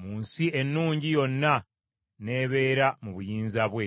mu nsi ennungi, yonna n’ebeera mu buyinza bwe.